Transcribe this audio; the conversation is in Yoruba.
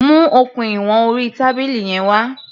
Mu okùn ìwọn orí tábìlì yẹn wá.